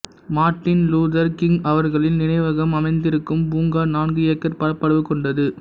Martin Luther King அவர்களின் நினைவகம் அமைந்திருக்கும் பூங்கா நான்கு ஏக்கர் பரப்பளவு கொண்டது